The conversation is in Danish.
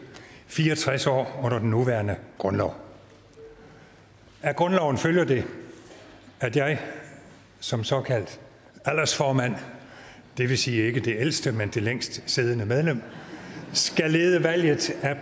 fire og tres år under den nuværende grundlov af grundloven følger at jeg som såkaldt aldersformand det vil sige ikke det ældste men det længst siddende medlem skal lede valget